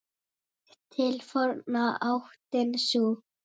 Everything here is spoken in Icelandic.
Þekkt til forna áttin sú.